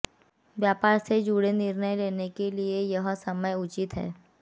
व्यापार से जुड़े महत्वपूर्ण निर्णय लेने के लिए यह समय उचित है